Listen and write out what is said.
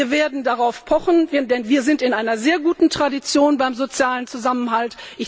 Wir werden darauf pochen, denn wir sind in einer sehr guten Tradition beim sozialen Zusammenhalt.